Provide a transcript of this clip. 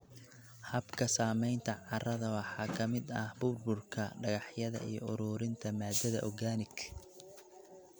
Habka samaynta carrada waxaa ka mid ah burburka dhagaxyada iyo ururinta maadada organic.